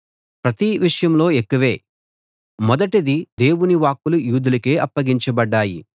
ప్రతి విషయంలో ఎక్కువే మొదటిది దేవుని వాక్కులు యూదులకే అప్పగించబడ్డాయి